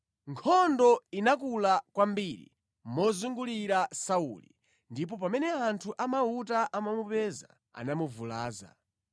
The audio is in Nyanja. Nkhondo inakula kwambiri mozungulira Sauli ndipo pamene anthu amauta anamupeza, anamuvulaza.